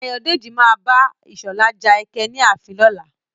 Ayọ̀dèjì má abá Ìṣọ̀lá ja ẹkẹ ní ààfin lọ́la.